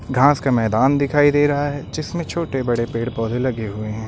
घास का मैदान दिखाई दे रहा है जिसमें छोटे बड़े पेड़ पौधे लगे हुए हैं।